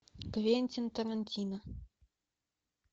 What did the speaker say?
квентин тарантино